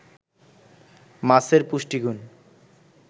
মাছের পুষ্টিগুণ